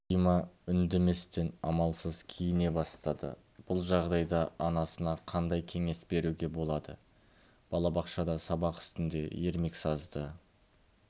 дима үндеместен амалсыз киіне бастады бұл жағдайда анасына қандай кеңес беруге болады балабақшада сабақ үстінде ермексазды